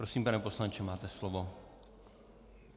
Prosím, pane poslanče, máte slovo.